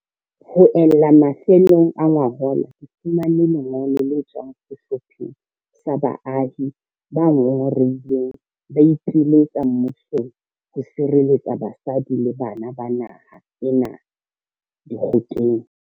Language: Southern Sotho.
Ho ella mafelong a ngwahola, ke fumane le ngolo le tswang sehlopheng sa baahi ba ngongorehileng ba ipiletsa mmusong ho sireletsa basadi le bana ba naha ena dikgokeng.